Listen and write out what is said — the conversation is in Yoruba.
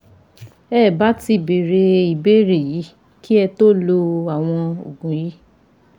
Ẹ ò bá ti béèrè ìbéèrè yìí kí ẹ tó lo àwọn òògùn yìí